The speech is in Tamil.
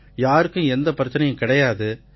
யாருக்கும் எந்த பிரச்சனையும் கிடையாது